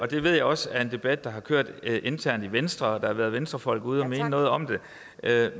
det ved jeg også er en debat der har kørt internt i venstre og der har været venstrefolk ude og mene noget om det